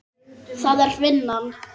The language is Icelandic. Það er vinnan.